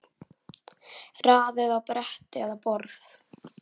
Raðið á bretti eða borð.